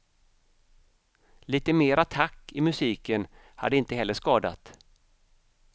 Lite mer attack i musiken hade inte heller skadat.